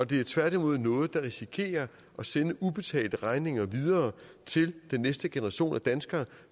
det er tværtimod noget der risikerer at sende ubetalte regninger videre til den næste generation danskere